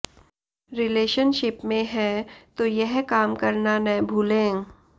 relationship में हैं तो यह काम करना न भूलें